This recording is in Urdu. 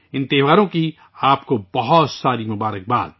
ان تہواروں کے لیے آپ سب کو بہت بہت مبارکباد